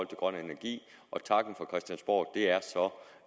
grøn energi og takken fra christiansborg er så